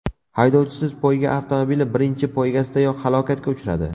Haydovchisiz poyga avtomobili birinchi poygasidayoq halokatga uchradi.